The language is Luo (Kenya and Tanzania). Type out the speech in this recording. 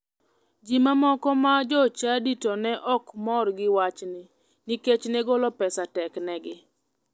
Ji mamoko ma jochadi to ne ok mor gi wachni nikech ne golo pesa teknegi.